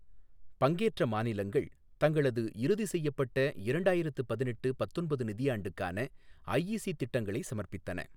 பங்கேற்ற மாநிலங்கள், தங்களது இறுதி செய்யப்பட்ட இரண்டாயிரத்து பதினெட்டு பத்தொன்பது நிதியாண்டுக்கான ஐஇசி திட்டங்களை சமர்ப்பித்தன.